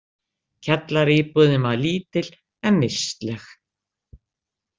Kjallaraíbúðin var lítil, en vistleg.